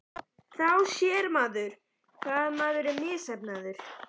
Þá sér maður hvað maður er misheppnaður.